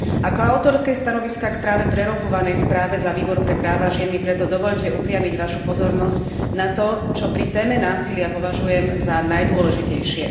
Ako autorke stanoviska k práve prerokúvanej správe za Výbor pre práva žien mi preto dovoľte upriamiť Vašu pozornosť na to, čo pri téme násilia považujem za najdôležitejšie.